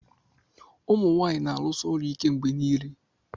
ụmụ nwanyị na-arụsi ọrụ ike mgbe niile